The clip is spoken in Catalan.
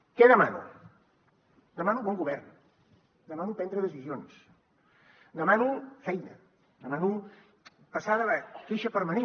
què demano demano bon govern demano prendre decisions demano feina demano passar de la queixa permanent